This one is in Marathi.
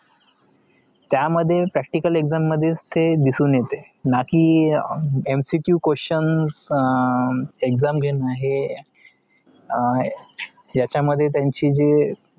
त्या मध्ये practical exam मध्येच ते दिसुन येतात नाकी MCQ questions exam घेणं हे याच्या मध्ये त्यांचं जे